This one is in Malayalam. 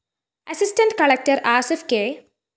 assistant collector Asif K